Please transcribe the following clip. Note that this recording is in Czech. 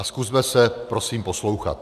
A zkusme se prosím poslouchat.